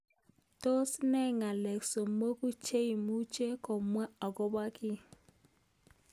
Tos ne ng'alek somoku cheimuch komwa akobo kii.